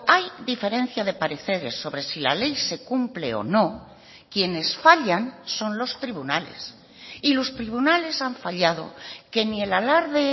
hay diferencia de pareceres sobre si la ley se cumple o no quienes fallan son los tribunales y los tribunales han fallado que ni el alarde